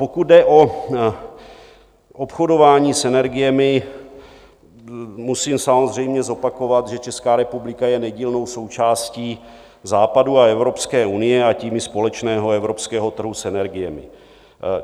Pokud jde o obchodování s energiemi, musím samozřejmě zopakovat, že Česká republika je nedílnou součástí Západu a Evropské unie, a tím i společného evropského trhu s energiemi.